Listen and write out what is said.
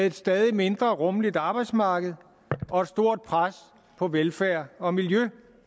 et stadig mindre rummeligt arbejdsmarked og et stort pres på velfærd og miljø